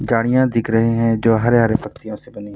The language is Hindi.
गाड़ियाँ दिख रहे हैं जो हरे-हरे पत्तियों से बनी --